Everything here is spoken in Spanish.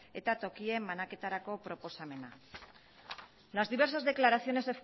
eta tokien banaketarako proposamena las diversas declaraciones